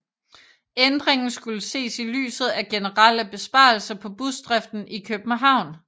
Ændringen skulle ses i lyset af generelle besparelser på busdriften i København